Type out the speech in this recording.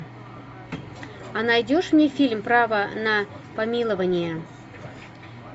а найдешь мне фильм право на помилование